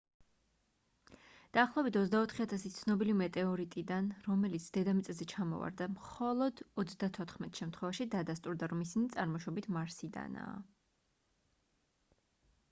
დაახლოებით 24 000 ცნობილი მეტეორიტიდან რომელიც დედამიწაზე ჩამოვარდა მხოლო 34 შემთხვევაში დადასტურდა რომ ისინი წარმოშობით მარსიდანაა